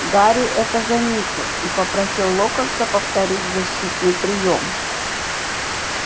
гарри это заметил и попросил локонса повторить защитный приём